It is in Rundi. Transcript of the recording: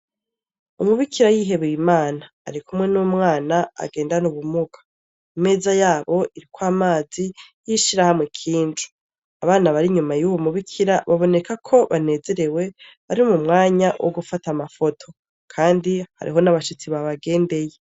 Umubikira yihebeye imana ari kumwe n'umwana agendana ubumuga imeza yabo iriko amazi yishirahamwe kinju abana bari inyuma y'uwu mubikira baboneka ko banezerewe bari mu mwanya wo gufata amafoto, kandi hariho n'abashitsi babagendeye.